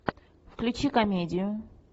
включи комедию